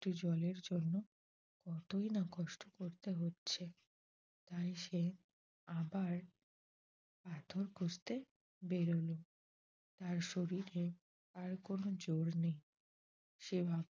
Two জলের জন্য কতই না কষ্ট করতে হচ্ছে। তাই সে আবার পাথর খুঁজতে বের হল তার শরীরে আর কোনো জোর নেই সে